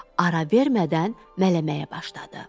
Ara vermədən mələməyə başladı.